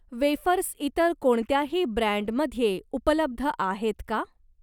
Wafers इतर कोणत्याही ब्रँडमध्ये उपलब्ध आहेत का?